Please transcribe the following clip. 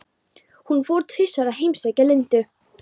Hún fór tvisvar að heimsækja Lindu.